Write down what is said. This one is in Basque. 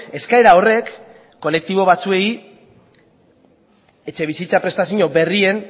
eskaera horrek kolektibo batzuei etxebizitza prestazio berrien